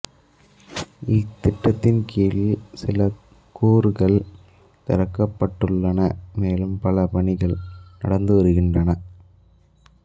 இத்திட்டத்தின் கீழ் சில கூறுகள் திறக்கப்பட்டுள்ளன மேலும் பல பணிகள் நடந்து வருகின்றன